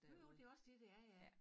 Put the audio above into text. Jo jo det også dét det er ja